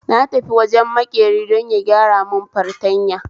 Na tafi wajen makeri don ya gyaramun fartanya